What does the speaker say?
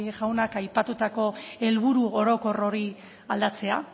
jaunak aipatutako helburu orokor hori aldatzea